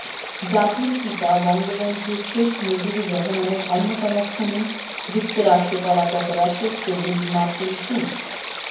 জাতির পিতা বঙ্গবন্ধু শেখ মুজিবুর রহমানের অন্যতম খুনি যুক্তরাষ্ট্রে পলাতক রাশেদ চৌধুরীর মার্কিন সু